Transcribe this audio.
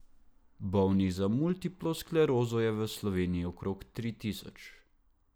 Bolnih za multiplo sklerozo je v Sloveniji okrog tri tisoč.